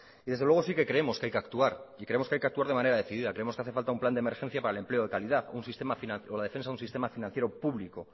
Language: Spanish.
y desde luego sí que creemos que hay que actuar y creemos que hay que actuar de manera decidida creemos que hace falta un plan de emergencia para el empleo de calidad un sistema financiero o la defensa de un sistema financiero público